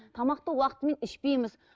тамақты уақытымен ішпейміз